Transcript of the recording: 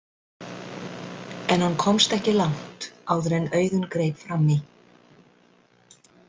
En hann komst ekki langt áður en Auðunn greip fram í.